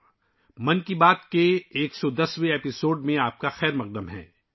'من کی بات' کے 110ویں ایپیسوڈ میں آپ کا خیر مقدم ہے